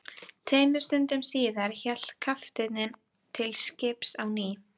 Tveimur stundum síðar hélt kafteinninn til skips á ný.